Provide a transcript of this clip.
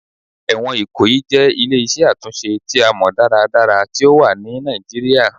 Ẹwọn Ikoyi jẹ ile-iṣẹ atunṣe ti a mọ daradara ti o wa ni Nigeria